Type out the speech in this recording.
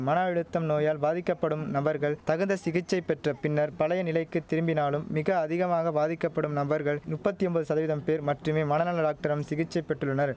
மன அழுத்தம் நோயால் பாதிக்கப்படும் நபர்கள் தகுந்த சிகிச்சை பெற்ற பின்னர் பழைய நிலைக்கு திரும்பினாலும் மிக அதிகமாக பாதிக்கப்படும் நபர்கள் நுப்பத்தி ஒம்பது சதவீதம் பேர் மட்டுமே மனநல ராக்டரம் சிகிச்சை பெற்றுள்ளனர்